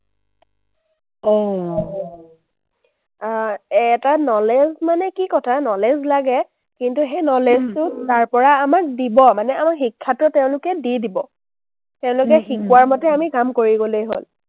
আহ এটা knowledge মানে কি কথা, knowledge লাগে। কিন্তু সেই knowledge টো তাৰপৰা আমাক দিব মানে, আমাৰ শিক্ষাটো তেওঁলোকে দি দিব। তেওঁলোকে শিকোৱাৰ মতে আমি কাম কৰি গ’লেই হ’ল।